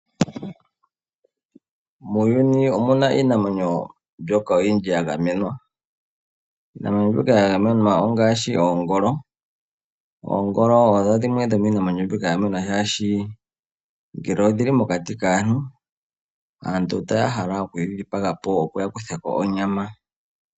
Muuyuni omuna iinamwenyo mbyoka oyindji yagamenwa. Iinamwenyo mbyoka ya gamenwa ongaashi oongolo . Oongolo odho dhimwe dhomiinamwenyo yagamenwa shaashi ngele odhili mokati kaantu , aantu otaya hala okuyi dhipaga po opo yakuthemo onyama.